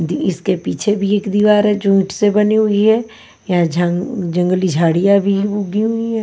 दी इसके पीछे भी एक दीवार है जो ईंट से बनी हुई है यहां झा जंगली झाड़ियां भी उगी हुई हैं।